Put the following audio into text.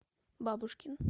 бабушкин